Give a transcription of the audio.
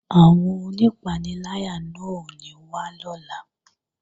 Àwọn onípaniláyà náà ò ní wá lọ́la